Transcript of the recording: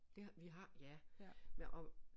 Ja vi har ja men og